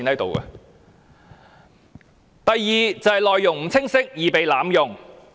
第二是內容不清晰，易被濫用。